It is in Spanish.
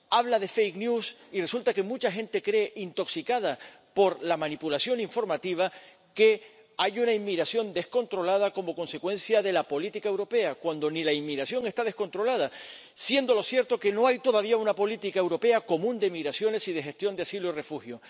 Habla de fake news y resulta que mucha gente cree, intoxicada por la manipulación informativa, que hay una inmigración descontrolada como consecuencia de la política europea, cuando ni la inmigración está descontrolada, siendo cierto que no hay todavía una política europea común de migraciones y de gestión de asilo y refugio.